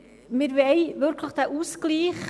Wir wollen diesen Ausgleich.